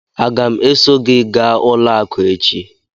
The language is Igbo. Aga m eso gị gaa ụlọ akụ echi?